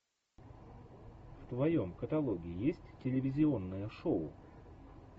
в твоем каталоге есть телевизионное шоу